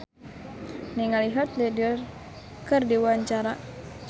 Pasha Ungu olohok ningali Heath Ledger keur diwawancara